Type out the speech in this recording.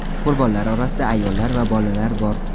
Qurbonlar orasida ayollar va bolalar bor.